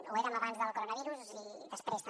ho érem abans del coronavirus i després també